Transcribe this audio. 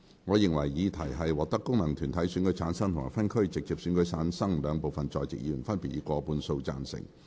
我認為議題獲得經由功能團體選舉產生及分區直接選舉產生的兩部分在席議員，分別以過半數贊成。